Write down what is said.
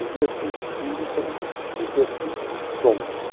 Os meus cinco filhos são os meus cinco sons.